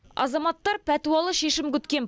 азаматтар пәтуалы шешім күткен